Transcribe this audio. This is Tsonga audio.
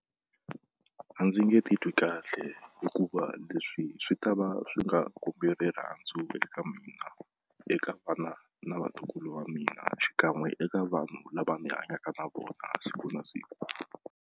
A ndzi nge titwi kahle hikuva leswi swi ta va swi nga kombi rirhandzu eka mina eka vana na vatukulu va mina xikan'we eka vanhu lava ni hanyaka na vona siku na siku.